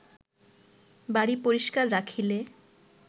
বাড়ী পরিস্কার রাখিলে